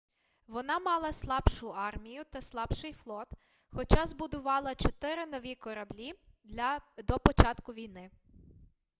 вона мала слабшу армію та слабший флот хоча збудувала чотири нові кораблі до початку війни